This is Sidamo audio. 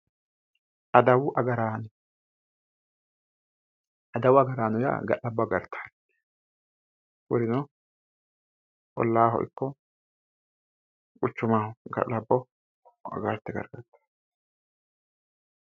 adawu agaraano adawu agaraano yaa ga'labbo agartanno kurino ollaaho ikko quchumaho ga'labbo agarte galtanno